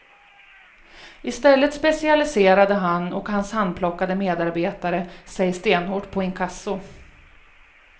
I stället specialiserade han och hans handplockade medarbetare sig stenhårt på inkasso.